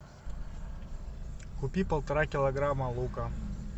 купи полтора килограмма лука